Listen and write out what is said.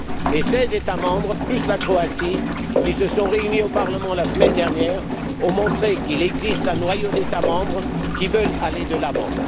Les seize États membres plus la Croatie qui se sont réunis au Parlement la semaine dernière ont montré qu'il existe un noyau d'États membres qui veulent aller de l'avant.